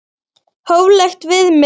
Hóflegt viðmið?